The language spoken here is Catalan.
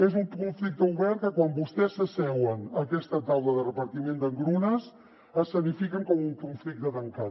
és un conflicte obert que quan vostès s’asseuen a aquesta taula de repartiment d’engrunes escenifiquen com un conflicte tancat